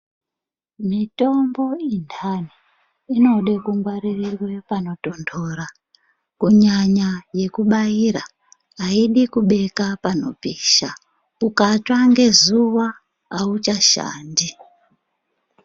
Mitombo indani inode kungwaririrwe panotondora kunyanya yekubaira, haidi kubeka panopisha. Utsva ngezuva haichashandi.